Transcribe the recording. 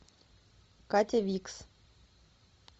катя викс